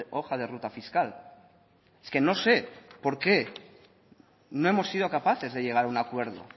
hoja de ruta fiscal es que no sé por qué no hemos sido capaces de llegar a un acuerdo